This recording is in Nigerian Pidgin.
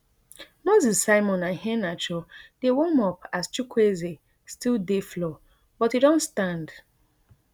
moses simon and iheanacho dey warm up as chukwueze still dey floor but e don stand